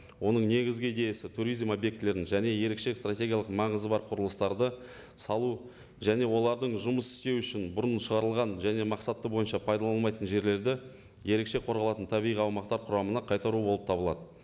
оның негізгі идеясы туризм объектілерін және ерекше стратегиялық маңызы бар құрылыстарды салу және олардың жұмыс істеуі үшін бұрын шығарылған және мақсаты бойынша пайдаланылмайтын жерлерді ерекше қорғалатын табиғи аумақтар құрамына қайтару болып табылады